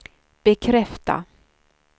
bekräfta